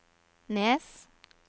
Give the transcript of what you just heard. Nes